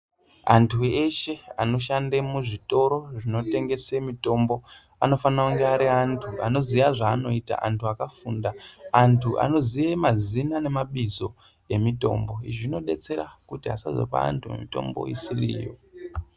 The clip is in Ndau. Anthu eshe anoshande muzvitoro zvinotengese mitombo anofanira kunge ari anthu anoziye zvaanoita, anthu akafunda, anthu anoziye mazina nemabizo emitombo. Zvinodetsera kuti asazopa anthu mitombo isiri iyo.